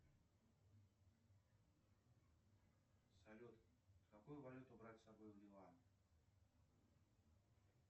салют какую валюту брать с собой в ливан